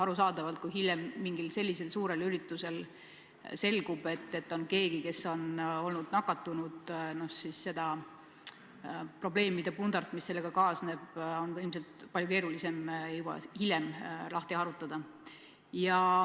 Arusaadavalt, kui hiljem selgub, et mingil sellisel suurel üritusel on osalenud keegi, kes on nakatunud, siis seda probleemide pundart, mis sellega kaasneb, on väga keeruline lahti harutada.